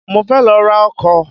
Mo fẹ́ lọ ra ọkọ́